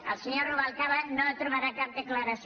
del senyor rubalcaba no trobarà cap declaració